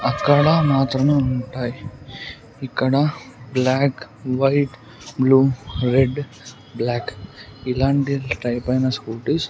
అక్కడ మాత్రమే ఉంటాయి ఇక్కడ black white blue red black ఇలాంటి టైపైన స్కుటిస్ .